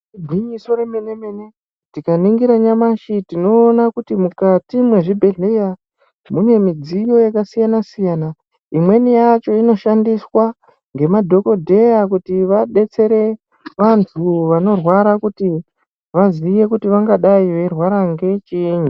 Igwinyiso remene-mene tikaningira nyamashi tinona kuti mukati mwezvibhedhleya mune midziyo yakasiyana-siyana. Imweni yacho inoshandiswa ngemadhogodheya kuti vabetsere vantu vanorwara kuti vaziye kuti vangadai veirwara ngechiinyi.